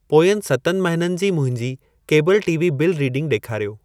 पोयंनि सतनि महिननि जी मुंहिंजे केबल टीवी बिल रीडिंग ॾेखारियो।